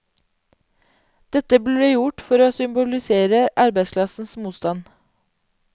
Dette ble gjort for å symbolisere arbeiderklassens motstand.